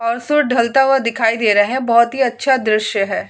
Also ढलता हुआ दिखाई दे रहे है। बहुत ही अच्छा दृश्य है।